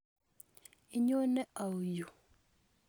Inyone au yo?